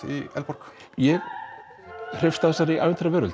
í Eldborg ég hreifst af þessari